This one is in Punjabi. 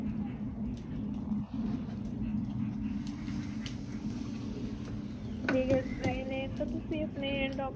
ਵਿਗੜ ਰਹੇ ਨੇ ਤਾਂ ਤੁਸੀਂ ਆਪਣੇ ਡਾਕ